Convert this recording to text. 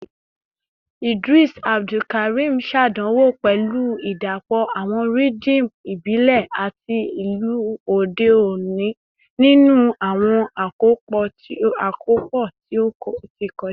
Idris Abdulkarim ṣàdánwò pẹ̀lú ìdàpọ̀ àwọn rhythm ìbílẹ̀ àti ìlù òde òní nínú àwọn àkópọ̀ tí ó ti kọjá